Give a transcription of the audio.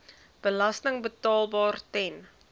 belasting betaalbaar ten